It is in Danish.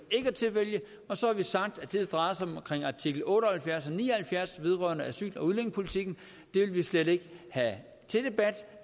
at tilvælge og så har vi sagt at det der drejer sig om artikel otte og halvfjerds og ni og halvfjerds vedrørende asyl og udlændingepolitikken vil vi slet ikke have til debat